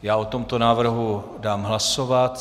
Já o tomto návrhu dám hlasovat.